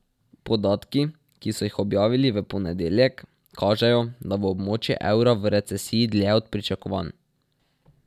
Podatki, ki so jih objavili v ponedeljek, kažejo, da bo območje evra v recesiji dlje od pričakovanj.